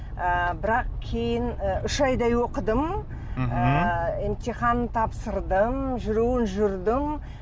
ыыы бірақ кейін ы үш айдай оқыдым мхм емтихан тапсырдым жүруін жүрдім